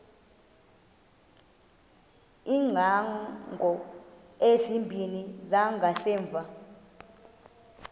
iingcango ezimbini zangasemva